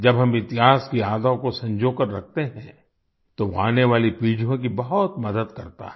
जब हम इतिहास की यादों को संजोकर रखते हैं तो वो आने वाली पीढ़ियों की बहुत मदद करता है